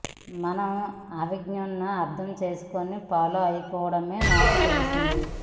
మనం ఆ విజన్ను అర్థం చేసుకొని ఫాలో అయిపోవడమే నాకు తెలిసింది